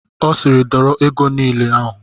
Ọ siiri dọrọ ego niile ahụ!